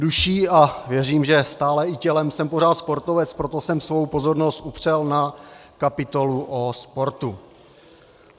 Duší a věřím, že stále i tělem jsem pořád sportovec, proto jsem svou pozornost upřel na kapitolu o sportu.